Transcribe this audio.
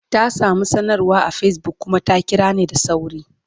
Ta samu sanarwa a Facebook kuma ta kira ni da sauri.